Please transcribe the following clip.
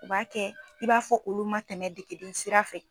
O b'a kɛ i b'a fɔ olu ma tɛmɛ degeli sira fɛ